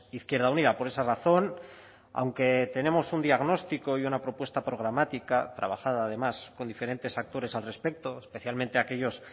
izquierda unida por esa razón aunque tenemos un diagnóstico y una propuesta programática trabajada además con diferentes actores al respecto especialmente aquellos